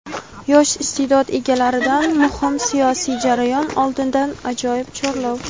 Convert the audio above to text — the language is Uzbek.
Yosh iste’dod egalaridan muhim siyosiy jarayon oldidan ajoyib chorlov.